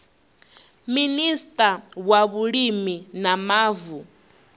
minista wa vhulimi na mavu